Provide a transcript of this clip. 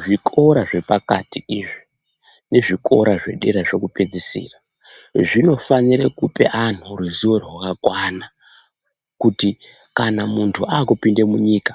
Zvikora zvepakati izvi nezvikora zvedera zvekupedzisora zvinofanira kupa anhu ruzivo rwakakwana kuti kana muntu akupinde munyika